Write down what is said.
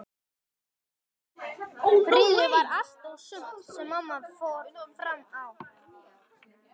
Friður var allt og sumt sem mamma fór fram á.